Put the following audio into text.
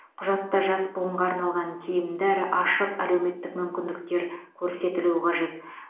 құжатта жас буынға арналған тиімді әрі ашық әлеуметтік мүмкіндіктер көрсетілуі қажет